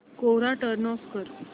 कोरा turn off कर